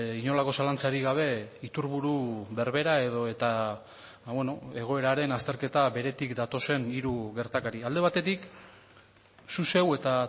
inolako zalantzarik gabe iturburu berbera edota egoeraren azterketa beretik datozen hiru gertakari alde batetik zu zeu eta